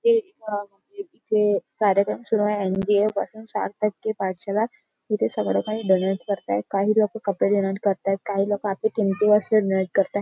हे एक इथे कार्यक्रम सुरू आहे. एन.जी.ओ. पासून पाठशाला इथे सगळं काही डोनेट करताय काही लोक कपडे डोनेट करताय काही लोक आपल्या भिंतीवर किंमती वस्तू डोनेट करताय.